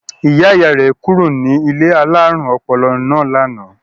Ìyá-ìyá rẹ̀ kúrò ní ilé alárùn ọpọlọ náà lánàá.